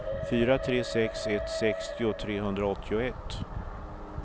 fyra tre sex ett sextio trehundraåttioett